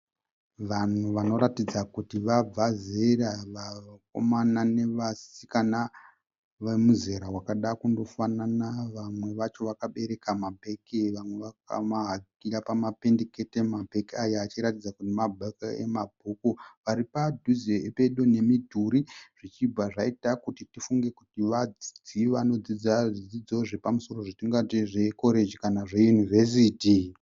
Vanhu vanoratidza kuti vabva zera. Vakomana navasikana vemuzere wakada kundofanana. Vamwe vacho vakabereka mabhegi vamwe vakamahakira pamapendekete. Mabhegi aya achiraratidza kuti mabhegi emabhuku, varipaduze pedo nemidhuri zvichibva zvaita kuti tifunge kuti vadzidzi vanodzidza zvidzidzo zvepamusoro zvatingati zvekoreji kana zveYunivesiti.